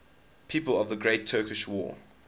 people of the great turkish war